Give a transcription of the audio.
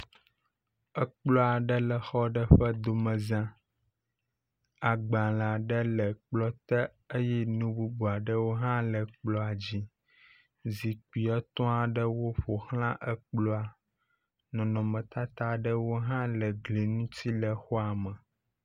ekplɔ̃ ɖe le xɔ ɖe ƒe domeza agbalē ɖe le kplɔa te eye nu bubu aɖewo hã le kplɔ̃ dzi zikpi etɔaɖewo ƒoxlã ekplɔa nɔnɔmetata ɖewo hã le gli ŋtsi le xɔa me